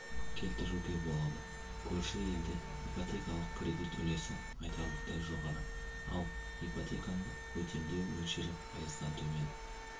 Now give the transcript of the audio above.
келтіруге болады көрші елде ипотекалық кредит үлесі айтарлықтай жоғары ал ипотеканы өтемеу мөлшері пайыздан төмен